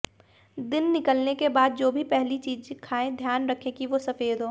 दिन निकलने के बाद जो भी पहली चीज खाएं ध्यान रखें कि वो सफेद हो